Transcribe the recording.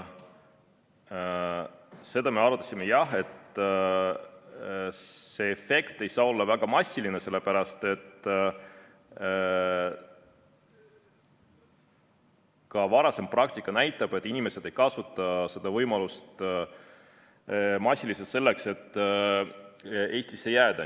Seda me arutasime jah, et see efekt ei saa olla väga massiline, sellepärast et ka varasem praktika näitab, et inimesed ei kasuta seda võimalust massiliselt selleks, et Eestisse jääda.